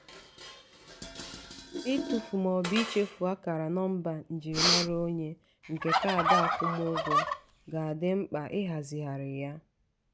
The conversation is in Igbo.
itụfu ma ọ bụ ichefu akara nọmba njirimara onwe nke kaadị akwụmụgwọ ga-adị mkpa ịhazigharị ya.